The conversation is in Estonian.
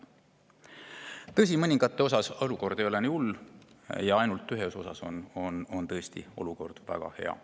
Tõsi, mõningates valdkondades ei ole olukord nii hull ja ühes on olukord tõesti väga hea.